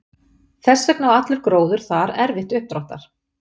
Þess vegna á allur gróður þar erfitt uppdráttar.